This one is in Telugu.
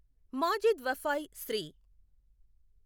మాజిద్ వఫాయ్, శ్రీ.